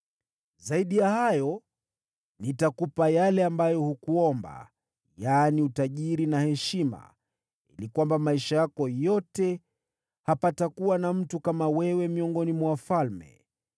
Zaidi ya hayo, nitakupa yale ambayo hukuomba, yaani utajiri na heshima, ili kwamba maisha yako yote hapatakuwa na mtu kama wewe miongoni mwa wafalme.